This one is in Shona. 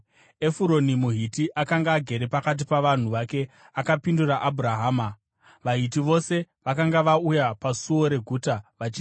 Efuroni muHiti akanga agere pakati pavanhu vake akapindura Abhurahama, vaHiti vose vakanga vauya pasuo reguta vachizvinzwa,